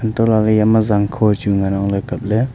antoh la ley iyama zangkho chu ngan ang ley kapley.